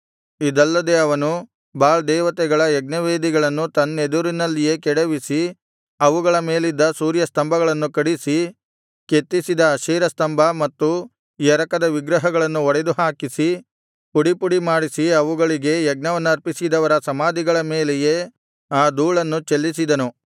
ಇದಲ್ಲದೆ ಅವನು ಬಾಳ್ ದೇವತೆಗಳ ಯಜ್ಞವೇದಿಗಳನ್ನು ತನ್ನೆದುರಿನಲ್ಲಿಯೇ ಕೆಡವಿಸಿ ಅವುಗಳ ಮೇಲಿದ್ದ ಸೂರ್ಯಸ್ತಂಭಗಳನ್ನು ಕಡಿಸಿ ಕೆತ್ತಿಸಿದ ಅಶೇರ ಸ್ತಂಭ ಮತ್ತು ಎರಕದ ವಿಗ್ರಹಗಳನ್ನು ಒಡೆದುಹಾಕಿಸಿ ಪುಡಿಪುಡಿ ಮಾಡಿಸಿ ಅವುಗಳಿಗೆ ಯಜ್ಞವನ್ನರ್ಪಿಸಿದವರ ಸಮಾಧಿಗಳ ಮೇಲೆ ಆ ಧೂಳನ್ನು ಚೆಲ್ಲಿಸಿದನು